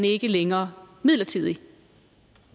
ikke længere midlertidig